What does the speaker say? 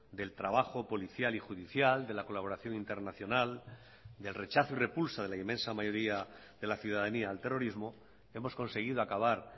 del trabajo policial y judicial de la colaboración internacional del rechazo y repulsa de la inmensa mayoría de la ciudadanía al terrorismo hemos conseguido acabar